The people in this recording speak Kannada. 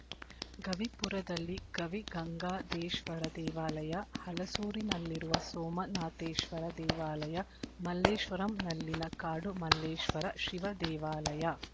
ಗವಿಪುರದಲ್ಲಿ ಗವಿಗಂಗಾದೇಶ್ವರ ದೇವಾಲಯ ಹಲಸೂರಿನಲ್ಲಿರುವ ಸೋಮನಾಥೇಶ್ವರ ದೇವಾಲಯ ಮಲ್ಲೇಶ್ವರಂನಲ್ಲಿನ ಕಾಡು ಮಲ್ಲೇಶ್ವರ ಶಿವದೇವಾಲಯ